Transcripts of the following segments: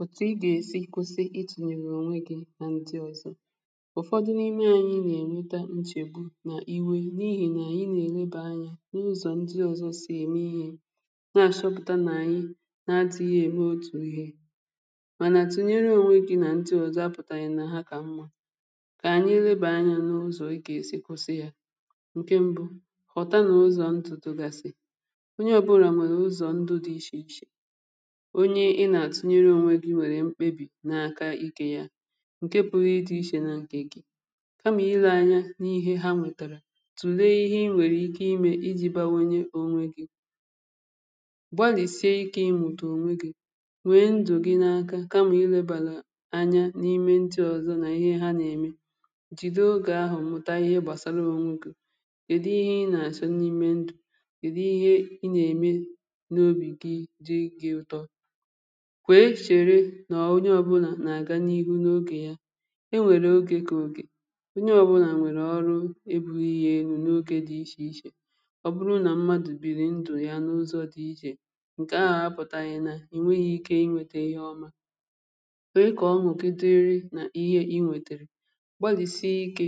òtù ị gà-èsi kwụsị itùnyèrè ònwe gị nà ntị ọzọ̀ ụ̀fọdụ n’ime anyị nà-èneta nchègbu nà iwė n’ihì nà ànyị nà-ènwebà anyȧ n’ụzọ̀ ndị ọzọ si ème ihe na-àchọpụ̀ta nà ànyị na-atụ̇ ihe ème otù ihe mànà tùnyere ònwe gị nà ndị ọzọ̀ apụ̀tàghị̀ nà ha kà mmȧ kà ànyị enwebà anyȧ n’ụzọ̀ ị gà-èsi kwụsị ya ǹke mbụ kọ̀ta nà ụzọ̀ ntụ̀ tụgàsị̀ onye ọbụlà mèrè ụzọ̀ ndụ̀ dị ichè ichè ichè ị nà-àtụnyere onwe gị̇ nwèrè mkpebì n’aka ike ya ǹke pụrụ ịdụ̇ ichè na ǹkè gị̇ kamà ịlȧ anya n’ihe ha mùtàrà tùlee ihe i nwèrè ike imė iji̇ bawenye onwe gị̇ gbalìsie ike ịmụ̀tụ̀ onwe gị̇ nwèe ndụ̀ gị n’aka kamà ilėbàlà anya n’ime ndụ̀ ọ̀zọ nà ihe ha nà-ème jìdo ogè ahụ̀ mmụ̀ta ihe gbàsara onwe gị̇ kède ihe ị nà-àsọ n’ime ndụ̀ kède ihe ị nà-ème n’obì gị jị gị̇ ụ̀tọ kwee chere nà ònyè ọbụlà nà àga n’ihu n’ogè ya enwèrè ogè kà ogè onye ọbụlà nwèrè ọrụ ebu̇ri̇ yė enu̇ n’ogè dị ichè ichè ọ̀ bụrụ nà mmadụ̀ biri ndụ̀ ya n’ụzọ̇ dị ichè ǹkè ahà apụ̀tà�rị̀nà ìnweghi ike inwėtė ihe ọma kà o nwụ̀ke dịrị nà ihe inwėtèrè gbalìsìe ikė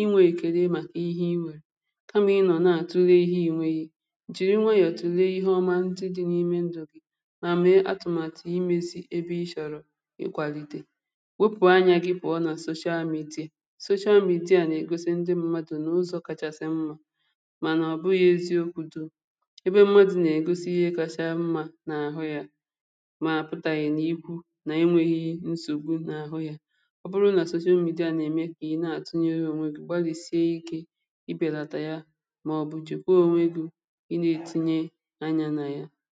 inwė kèdu màkà ihe iwèrè kamà ịnọ̀ na à tule ihe inweghi jìri nwayọ̀ tùle ihe ọma ntị dị̇ n’ime ndụ̀ ịkwàlìtè wepù anyà gị pụ̀ọ nà sochaa mìde sochaa mìde à nà-ègosi ndị mmadụ̀ nà ụzọ̇ kàchàsị̀ mmȧ mànà ọ̀ bụghị̇ eziokwu̇do ebe mmadụ̀ nà-ègosi ihe kacha mmȧ n’àhụ yȧ màpụ̀tà yà ịnàigwù nà enweghi nsògbu n’àhụ yȧ ọ bụrụ nà sochaa mìde à nà-ème ịnà àtụ nyere ònweghi gbalìsie ikė ịbèlàtà ya mà ọ̀ bụ̀ jì kwuo ònweghi ịnà ètinye anyȧ nà ya